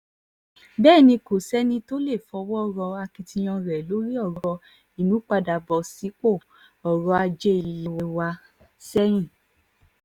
bẹ́ẹ̀ ni kò sẹ́ni tó lè fọwọ́ rọ́ akitiyan rẹ̀ lórí ọ̀rọ̀ ìmúpadàbọ̀ sípò ọ̀rọ̀ ajé ilé wa sẹ́yìn